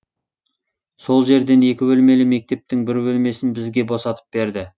сол жерден екі бөлмелі мектептің бір бөлмесін бізге босатып берді